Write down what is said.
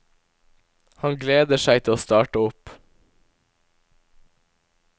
Han gleder seg til å starte opp.